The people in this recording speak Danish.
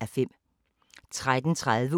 DR K